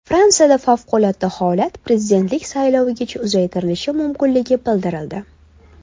Fransiyada favqulodda holat prezidentlik saylovigacha uzaytirilishi mumkinligi bildirildi.